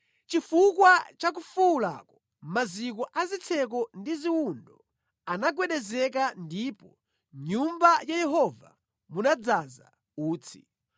Chifukwa cha kufuwulako maziko a zitseko ndi ziwundo anagwedezeka ndipo mʼNyumba ya Yehova munadzaza utsi.